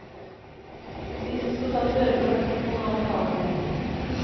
De som skal ta førerkort må nå betale mer.